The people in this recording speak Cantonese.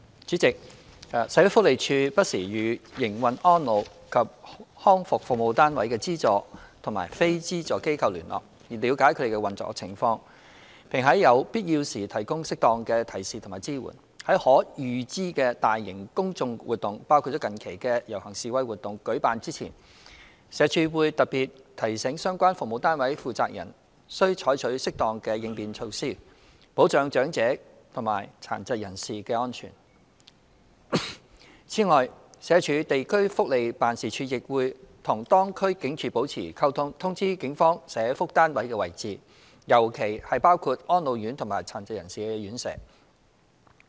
主席，社會福利署不時與營運安老及康復服務單位的資助及非資助機構聯絡，了解其運作情況，並在有必要時提供適當的提示與支援。在可預知的大型公眾活動舉辦前，社署會特別提醒相關服務單位負責人須採取適當應變措施，保障長者及殘疾人士的安全。此外，社署地區福利辦事處亦會與當區警署保持溝通，通知警方社福單位的位置，尤其包括安老院及殘疾人士院舍。